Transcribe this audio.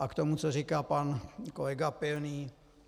A k tomu, co říká pan kolega Pilný.